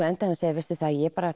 endaði að segja veistu ég